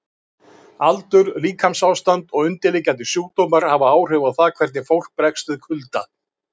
Aldur, líkamsástand og undirliggjandi sjúkdómar hafa áhrif á það hvernig fólk bregst við kulda.